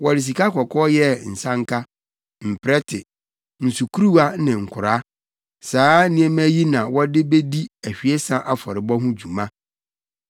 Wɔde sikakɔkɔɔ yɛɛ nsanka, mprɛte, nsukuruwa ne nkoraa. Saa nneɛma yi na wɔde bedi ahwiesa afɔrebɔ ho dwuma.